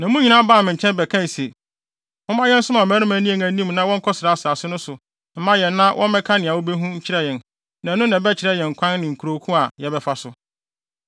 Na mo nyinaa baa me nkyɛn bɛkae se, “Momma yɛnsoma mmarima nni yɛn anim na wɔnkɔsra asase no so mma yɛn na wɔmmɛka nea wobehu nkyerɛ yɛn na ɛno na ɛbɛkyerɛ yɛn kwan ne nkurow ko a yɛbɛfa so.”